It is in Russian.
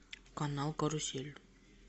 канал карусель